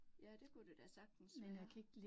Ja, det kunne det da sagtens være